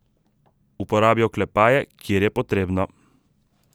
Uporabi oklepaje, kjer je potrebno.